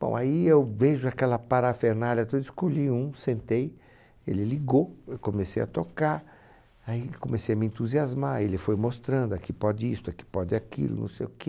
Bom, aí eu vejo aquela parafernália toda, escolhi um, sentei, ele ligou, eu comecei a tocar, aí comecei a me entusiasmar, ele foi mostrando, aqui pode isto, aqui pode aquilo, não sei o quê.